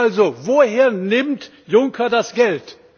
Also woher nimmt Juncker das Geld?